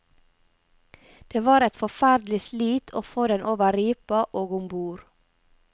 Det var et forferdelig slit å få den over ripa og om bord.